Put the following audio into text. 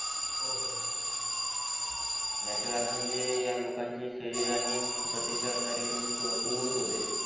याचे कारण म्हणजे यालोकांची शरीर आणि प्रतिक्षारिक म्हणजे कुमुवत्त होते